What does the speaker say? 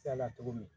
cogo min